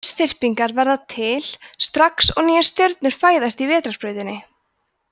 lausþyrpingar verða til strax og nýjar stjörnur fæðast í vetrarbrautinni